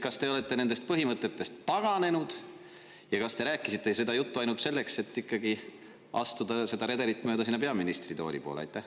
Kas te olete nendest põhimõtetest taganenud ja kas te rääkisite seda juttu ainult selleks, et ikkagi astuda seda redelit mööda peaministritooli poole?